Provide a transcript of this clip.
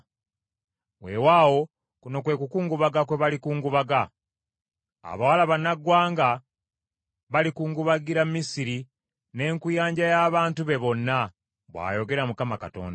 “Weewaawo kuno kwe kukungubaga kwe balikungubaga. Abawala bannaggwanga balikungubagira Misiri n’enkuyanja y’abantu be bonna,” bw’ayogera Mukama Katonda.